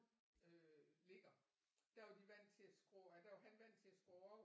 Øh ligger der var de vant til at skrå eller der var han vant til at skrå over